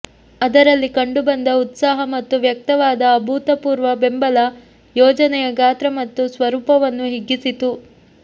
ಅದರಲ್ಲಿ ಕಂಡುಬಂದ ಉತ್ಸಾಹ ಮತ್ತು ವ್ಯಕ್ತವಾದ ಅಭೂತಪೂರ್ವ ಬೆಂಬಲ ಯೋಜನೆಯ ಗಾತ್ರ ಮತ್ತು ಸ್ವರೂಪವನ್ನು ಹಿಗ್ಗಿಸಿತು